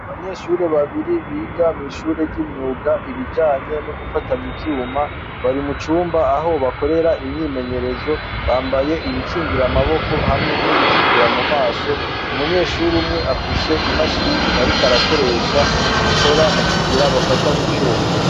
Abanyeshure babiri biga mw'ishure ry'imyuga, ibijanye no gufatanya ivyuma, bari mu cumba aho bakorera imyimenyerezo, bambaye ibikingira amaboko, hamwe n'ibikingira mu maso, umunyeshure umwe afise imashini ariko arakoresha ikora mu kugira bafatanye ivyuma.